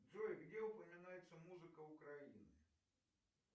джой где упоминается музыка украины